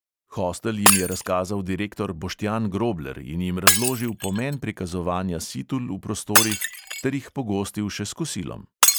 Hostel jim je razkazal direktor boštjan grobler in jim razložil pomen prikazovanja situl v prostorih ter jih pogostil še s kosilom.